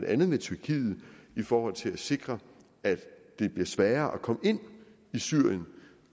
andet tyrkiet for at sikre at det bliver sværere at komme ind i syrien